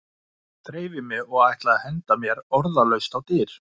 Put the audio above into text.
Þreif í mig og ætlaði að henda mér orðalaust á dyr.